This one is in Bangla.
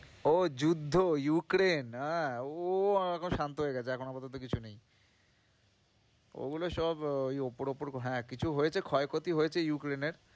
ও যুদ্ধ ইউক্রেন? হ্যাঁ, ও এখন শান্ত হয়ে গেছে এখন আপাতত কিছু নেই ওগুলো সব আহ ওই ওপর ওপর হ্যাঁ, কিছু হয়েছে ক্ষয় ক্ষতি হয়েছে ইউক্রেনের।